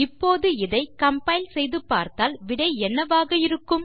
இப்போது இதை கம்பைல் செய்து பார்த்தால் விடை என்னவாக இருக்கும்